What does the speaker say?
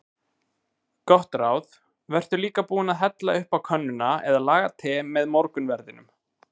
Gott ráð: Vertu líka búinn að hella upp á könnuna eða laga te með morgunverðinum.